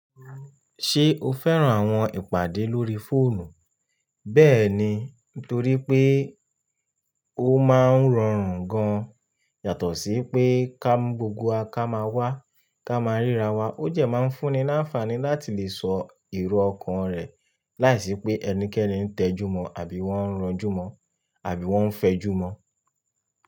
Ṣé o fẹ́ràn àwọn ìpàdé lórí fóònù? Bẹ́ẹ̀ni, nítorí pé ó máa ń rọrùn gan-an yàtọ̀ sí pé ká gbogbo wa ká máa wá ká máa ríra wa. Ó jẹ máa ń fúnni ní àǹfààní láti lè sọ ìró ọkàn rẹ̀ láìsí pé ẹnikẹ́ni ń tẹjúmọ̀ àbí wọ́n ń ranjúmọ̀ àbí wọ́n ń fẹjúmọ́.